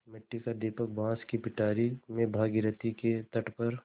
मिट्टी का दीपक बाँस की पिटारी में भागीरथी के तट पर